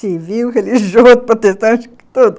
civil, religioso, protestante, tudo.